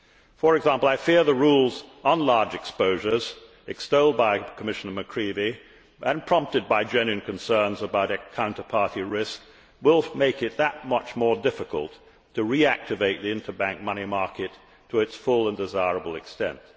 For example, I fear that the rules on large exposures, extolled by Commissioner McCreevy and prompted by genuine concerns about counterparty risk, will make it that much more difficult to reactivate the interbank money market to its full and desirable extent.